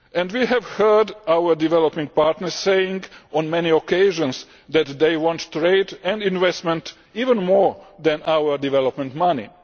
We have heard our developing partners say on many occasions that they want trade and investment even more than our development money.